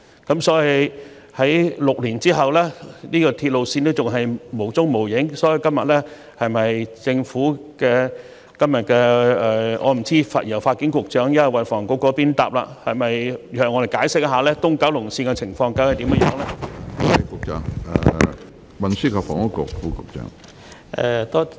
可是，在6年後，這條鐵路線仍然不見蹤影，我不知道今天是由發展局抑或運房局答覆，但可否向我們解釋東九龍綫的情況呢？